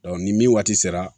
ni min waati sera